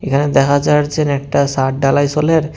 এখানে দেখা যারছেন একটা সাদ ঢালাই চলের।